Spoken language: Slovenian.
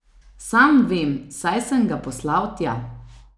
Sam vem, saj sem ga poslal tja.